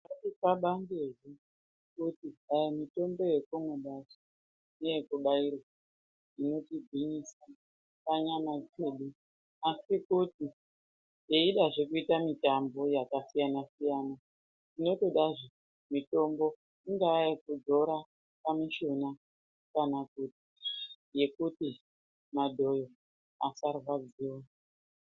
Bangai kuti mutombo yatakabata neyekubairwa inotigwinyisa panyama dzedu asi kuti twidazve kuita mitambo yakasiyana siyana zvinotodazve mutombo yekudzora pamushuna kana kuti yekuti madhoyo asarwadziwa.